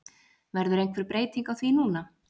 Verður einhver breyting á því núna?